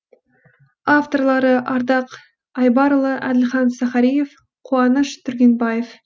авторлары ардақ айбарұлы әділхан сахариев қуаныш түргенбаев